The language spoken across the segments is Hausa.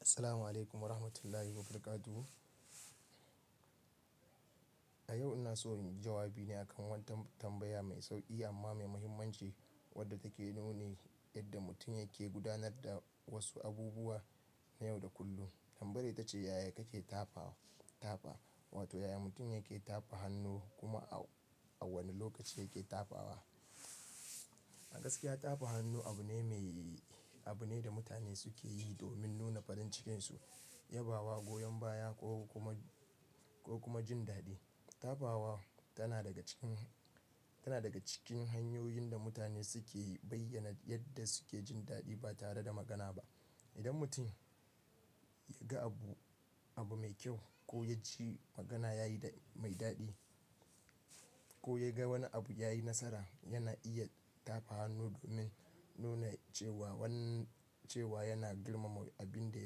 Assalamu alaikum wa rahmatullahi wa barakatu. A yau ina so in yi jawabi ne akan wata tambaya mai sauƙi amma mai muhimmanci wadda take nune yadda mutum yake gudanar da wasu abubuwa na yau da kullum. Tambayar ita ce, yaya kake tafa-tafa? Wato yaya mutum yake tafa hannu kuma a wane lokaci yake tafawa? Gaskiya tafa hannu abu ne mai, abu ne da mutane suke yi domin nuna farin cikinsu, yabawa, goyon baya ko kuma, ko kuma jin daɗi. Tafawa tana daga cikin, tana daga cikin hanyoyin da mutane suke bayyana yadda suke jin daɗi ba tare da magana ba. Idan mutum ya ga abu, abu mai kyau ko ya ji magana yayi mai daɗi ko ya ga wani abu yayi nasara, yana iya tafa hannu domin nuna cewa wanda, cewa yana girmama abin da,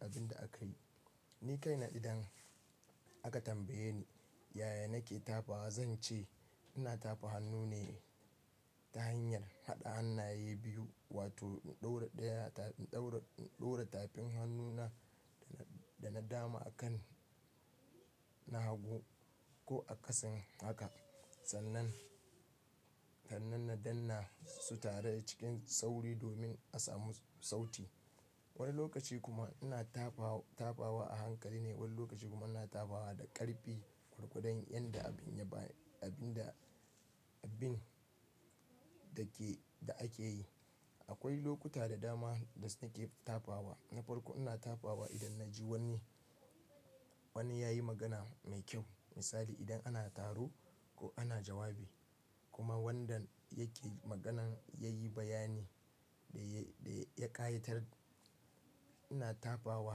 abin da aka yi. Ni kaina idan aka tambaye ni yaya nake tafawa, zan ce ina tafa hannu ne ta hanyar haɗa hannaye biyu wato ɗaura ɗaya, ɗaura, ɗaura tafin hannuna da na dama a kan na hagu ko a ƙasan haka sannan, sannan na danna su tare cikin sauri domin a samu sauti. Wani lokaci kuma ina tafa, tafawa a hankali ne, wani lokaci kuma ina tafawa da ƙarfi gorgodon yayin da abin ya ba, abin da, abin da ke, da ake yi. Akwai lokuta da dama da nake tafawa. Na farko ina tafawa idan na ji wani, wani ya yi magana mai kyau. Misali, idan ana taro ko ana jawabi kuma wanda yake maganan ya yi bayani da ya, da ya ƙayatar, ina tafawa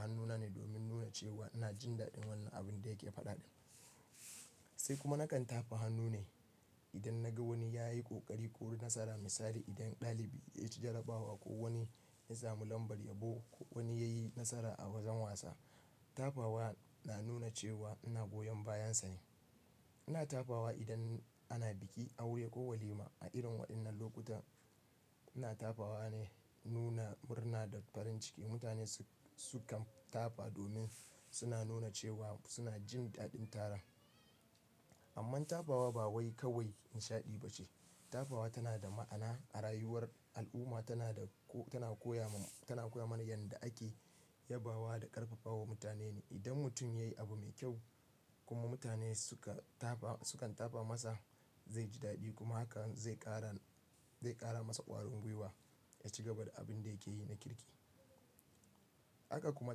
hannuna ne domin nuna cewa ina jin daɗin wannan abin da yake faɗa. Sai kuma na kan tafa hannu ne idan na ga wani ya yi ƙoƙari ko nasara. Misali, idan ɗalibi ya ci jarabawa ko wani ya samu lambar yabo ko wani ya yi nasara a wajen wasa. Tafawa na nuna cewa ina goyon bayansa ne. Ina tafawa idan ana biki, aure ko walima. A irin waɗannan lokuta ina tafawa ne don nuna murna da farin ciki. Mutane sukan tafa domin suna nuna cewa suna jin daɗin taron. Amma tafawa ba wai kawai nishaɗi bace. Tafawa tana da ma'ana a rayuwar al'umma, tana da, tana koya ma, tana koya mana yadda ake yabawa da ƙarfafawa mutane ne. Idan mutum ya yi abu mai kyau kuma mutane sukan tafa, sukan tafa masa, zai ji daɗi kuma hakan zai ƙara, zai ƙara masa ƙwarin gwiwa ya ci gaba da abin da yake yi na kirki. Haka kuma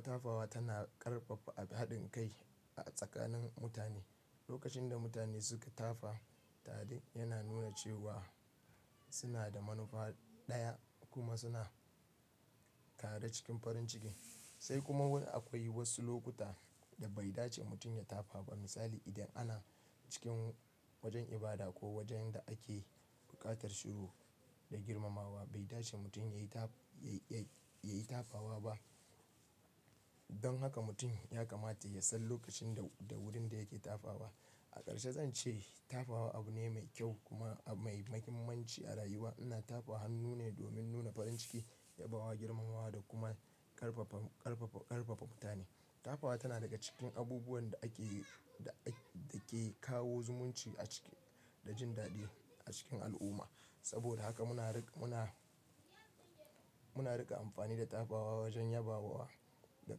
tafawa tana ƙarfafa haɗin kai a tsakanin mutane. Lokacin da mutane suka tafa tare yana nuna cewa suna da manufa ɗaya kuma suna tare cikin farin ciki. Sai kuma akwai wasu lokuta da bai dace mutum ya tafa ba. Misali, idan ana cikin wajen ibada ko wajen da ake buƙatar shiru da girmamawa bai dace mutum ya yi ta, ya yi tafawa ba. Don haka mutum ya kamata ya san lokacin da, da wurin da yake tafawa. A ƙarshe zan ce tafawa abu ne mai kyau kuma mai muhimmanci a rayuwa. Ina tafa hannu ne domin nuna farin ciki, yabawa, girmamawa da kuma ƙarfafa, ƙarfafa, ƙarfafa mutane. Tafawa tana daga cikin abubuwan da ake, da yake kawo zumunci a ciki da jin daɗi a cikin al'umma. Saboda haka muna riƙa, muna, muna riƙa amfani da tafawa wajen yabawa da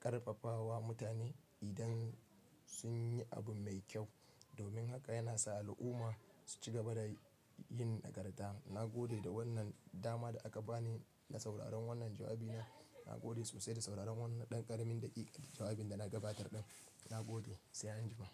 ƙarfafawa mutane idan sun yi abu mai kyau. Domin haka yana sa al'umma su ci gaba da yin nagarta. Na gode da wannan dama da aka ba ni na sauraron wannan jawabi na. Na gode sosai da sauraron wannan ɗan ƙaramin daƙiƙan jawabin da na gabatar ɗan. Na gode. Sai anjima.